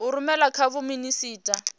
a rumela kha vho minisita